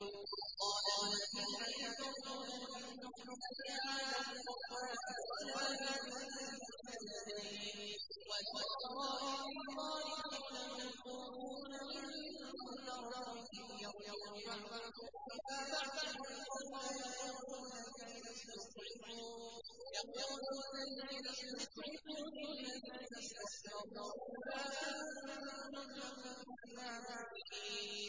وَقَالَ الَّذِينَ كَفَرُوا لَن نُّؤْمِنَ بِهَٰذَا الْقُرْآنِ وَلَا بِالَّذِي بَيْنَ يَدَيْهِ ۗ وَلَوْ تَرَىٰ إِذِ الظَّالِمُونَ مَوْقُوفُونَ عِندَ رَبِّهِمْ يَرْجِعُ بَعْضُهُمْ إِلَىٰ بَعْضٍ الْقَوْلَ يَقُولُ الَّذِينَ اسْتُضْعِفُوا لِلَّذِينَ اسْتَكْبَرُوا لَوْلَا أَنتُمْ لَكُنَّا مُؤْمِنِينَ